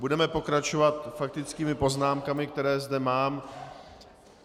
Budeme pokračovat faktickými poznámkami, které zde mám.